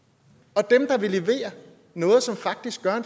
og dem der vil levere noget som faktisk gør